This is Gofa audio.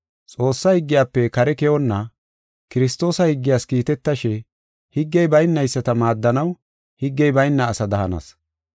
Xoossa higgiyafe kare keyonna, Kiristoosa higgiyas kiitetashe, higgey baynayisata maaddanaw higgey bayna asada hanas.